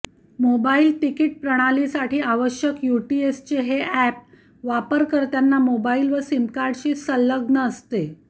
mobile ticket प्रणालीसाठी आवश्यक UTS हे अॅप वापरकर्त्यांना मोबाईल वा सीमकार्डशी संलग्न असते